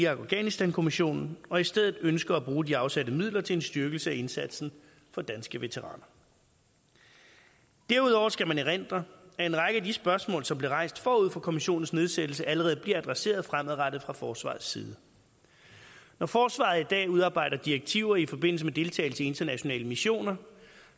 og afghanistankommissionen og i stedet ønsker at bruge de afsatte midler til en styrkelse af indsatsen for danske veteraner derudover skal man erindre at en række af de spørgsmål som blev rejst forud for kommissionens nedsættelse allerede bliver adresseret fremadrettet fra forsvarets side når forsvaret i dag udarbejder direktiver i forbindelse med deltagelse i internationale missioner